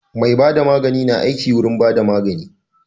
Mai bada magani na aiki awurin bada magani